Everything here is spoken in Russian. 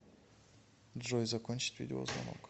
джой закончить видеозвонок